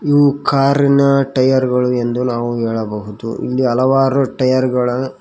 ಇವು ಕಾರಿನ ಟೈಯರ್ ಗಳು ಎಂದು ನಾವು ಹೇಳಬಹುದು ಇಲ್ಲಿ ಹಲವಾರು ಟೈಯರ್ಗಳ--